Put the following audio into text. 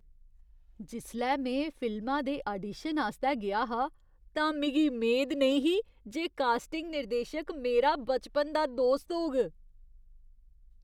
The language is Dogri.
जिसलै में फिल्मा दे आडीशन आस्तै गेआ हा, तां मिगी मेद नेईं ही जे कास्टिंग निर्देशक मेरा बचपन दा दोस्त होग।